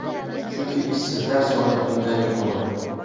Chunki ishsizlar soni bundan yuqori.